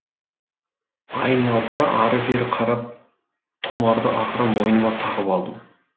айналдыра ары бері қарап тұмарды ақыры мойныма тағып алдым